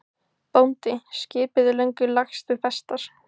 BÓNDI: Skipið er löngu lagst við festar.